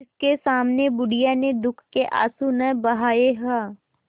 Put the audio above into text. जिसके सामने बुढ़िया ने दुःख के आँसू न बहाये हां